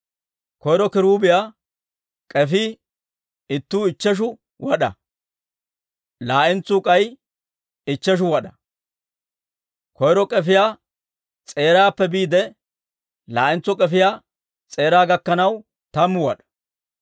Koyro kiruubiyaa k'efii ittuu ichcheshu wad'aa; laa"entsuu k'ay ichcheshu wad'aa; koyro k'efiyaa s'eeraappe biide laa'entso k'efiyaa s'eeraa gakkanaw tammu wad'aa.